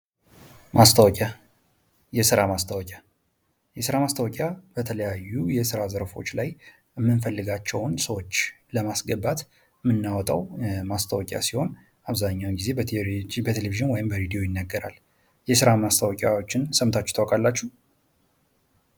ማስታወቂያ፤ የስራ ማስታወቂያ የስራ ማስታወቂያ በተለያዩ የስራ ዘርፎች ላይ የምንፈልጋቸውን ሰዎች ለማስገባት የምናወጣው ማስታወቂያ ሲሆን አብዛኛውን ጊዜ በቴሌቪዥን ወይም በሬዲዮ ይነገራል። የስራ ማስታወቂያዎችን ሰምታችሁ ታቃላቸሁ?